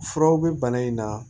Furaw bɛ bana in na